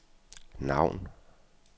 navn